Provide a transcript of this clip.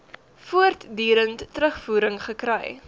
voortdurend terugvoering gekry